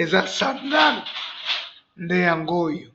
eza basandale ndeyangoyo ee